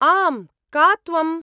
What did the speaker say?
आम्। का त्वम्?